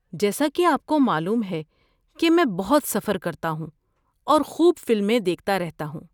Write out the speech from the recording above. جیسا کہ آپ کو معلوم ہے کہ میں بہت سفر کرتا ہوں اور خوب فلمیں دیکھتا رہتا ہوں۔